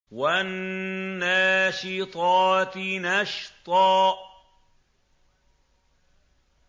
وَالنَّاشِطَاتِ نَشْطًا